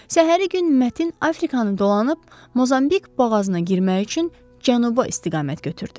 Səhəri gün Mətin Afrikanı dolanıb Mozambik boğazına girmək üçün Cənuba istiqamət götürdü.